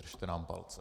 Držte nám palce.